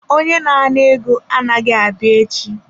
Onye na-ana ego anaghị abịa echi.